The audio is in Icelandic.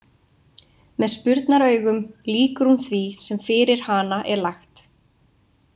Með spurnaraugum lýkur hún því sem fyrir hana er lagt.